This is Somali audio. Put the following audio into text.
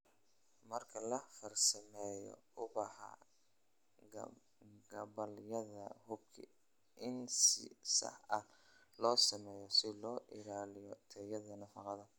"Marka la farsameynayo ubaxa gabbaldayaha, hubi in si sax ah loo sameeyay si loo ilaaliyo tayada nafaqada."